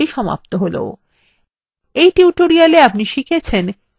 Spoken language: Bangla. এখানেই libreoffice draw এর tutorial সমাপ্ত হল